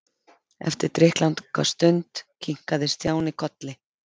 Eftir drykklanga stund kinkaði Stjáni kolli.